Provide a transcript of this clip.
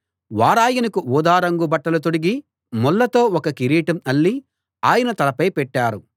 వారాయనకు ఊదా రంగు బట్టలు తొడిగి ముళ్ళతో ఒక కిరీటం అల్లి ఆయన తలపై పెట్టారు